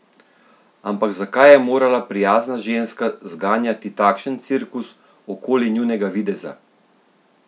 Ampak zakaj je morala prijazna ženska zganjati takšen cirkus okoli njunega videza?